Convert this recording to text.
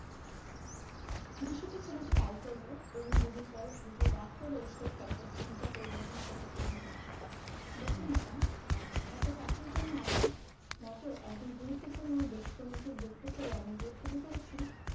বিস্মিত ছেলেটি তাই করলো এবং দুদিন পরে ছেলেটি রাগ করে এসে স্ট্রাটফোর্ড চিঠিটা পরে পরবর্তী করলো এভাবে দেখুন madam একটা চাকরির জন্য আপনার মত একজন গুরুত্বপূর্ণ দেশকর্মীকে বিরক্ত করে আমি যে ক্ষতি করেছি